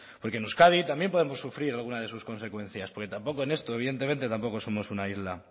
porque en euskadi también podemos sufrir alguna de sus consecuencias porque tampoco en esto evidentemente tampoco somos una isla